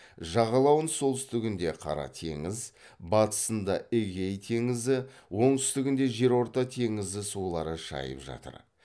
жағалауын солтүстігінде қара теңіз батысында эгей теңізі оңтүстігінде жерорта теңізі сулары шайып жатыр